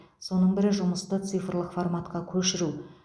соның бірі жұмысты цифрлық форматқа көшіру